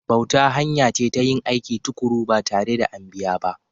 Bauta hanya ce ta yin aiki tuƙuru ba tare da an biya ba.